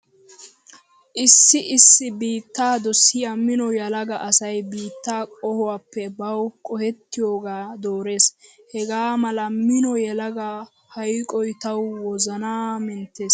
Issi issi biittaa dosiya mino yelaga asay ba biitta qohuwappe bawu qohettiyogaa doorees. Hegaa mala mino yelagaa hayqoy tawu wozanaa menttees.